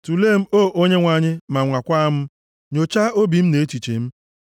Tulee m, O Onyenwe anyị, ma nwakwaa m, nyochaa obi m na echiche m.